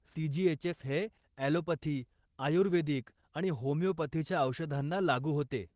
CGHS हे allopathy, ayurvedic आणि होमियोपथीच्या औषधांना लागू होते.